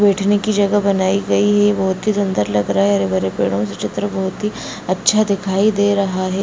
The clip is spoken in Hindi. बैठने की जगह बनाई गई है | बहुत ही सुन्दर लग रहा है | हरे भरे पेड़ो से चित्र बहुत ही अच्छा दिखाई दे रहा है |